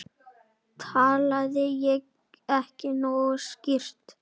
Talaði ég ekki nógu skýrt?